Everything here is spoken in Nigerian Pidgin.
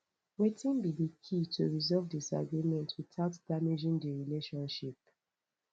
wetin be di key to resolve disagreement without damaging di relationship